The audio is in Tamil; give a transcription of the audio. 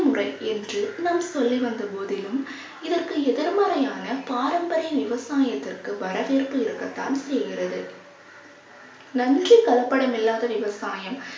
முறை என்று நாம் சொல்லி வந்த போதிலும் இதற்கு எதிர்மறையான பாரம்பரிய விவசாயத்திற்கு வரவேற்பு இருக்கத்தான் செய்கிறது. நன்றி கலப்படம் இல்லாத விவசாயம்